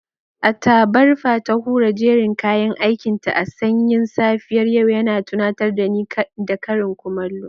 A tabarfa ta hura jerin kayan aikinta a sanyin safiyar yau, yana tunatar da ni da karin kumallo.